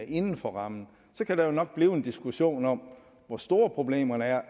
inden for rammen så kan der jo nok blive en diskussion om hvor store problemerne er